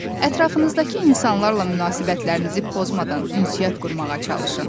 Ətrafınızdakı insanlarla münasibətlərinizi pozmadan ünsiyyət qurmağa çalışın.